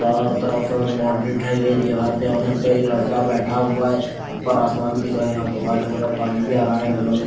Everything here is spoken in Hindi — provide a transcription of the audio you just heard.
चारो तरफ बाउंड्री उठाई गई है और यहां पर एक लड़का बैठा हुआ है ऊपर आसमान भी दिख रहा है यहां पर व्हाइट कलर का पानी भी आ रहा है नलों में --